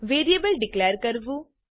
variable declare કરવું